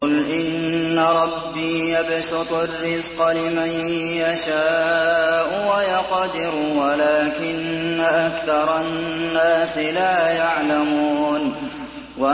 قُلْ إِنَّ رَبِّي يَبْسُطُ الرِّزْقَ لِمَن يَشَاءُ وَيَقْدِرُ وَلَٰكِنَّ أَكْثَرَ النَّاسِ لَا يَعْلَمُونَ